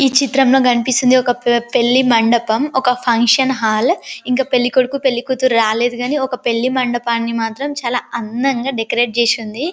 ఈ చిత్రం లో కనిపిస్తుంది ఒక పే- పెళ్లి మండపం ఒక ఫంక్షన్ హాల్ ఇంకా పెళ్ళికొడుకు పెళ్ళికూతురు రాలేదుగాని ఒక పెళ్ళి మండపాన్ని మాత్రం చాలా అందంగా డెకరేట్ చేసుంది.